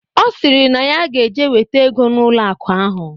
Ọ sịrị na ya ge-eje weta ego n'ụlọ akụ ahụ.